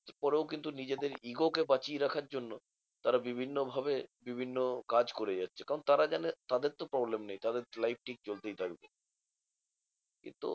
এর পরেও কিন্তু নিজেদের ego কে বাঁচিয়ে রাখার জন্য, তারা বিভিন্ন ভাবে বিভিন্ন কাজ করে যাচ্ছে। কারণ তারা জানে তাদের তো problem নেই তাদের life ঠিক চলতেই থাকবে। কিন্তু